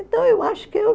Então, eu acho que eu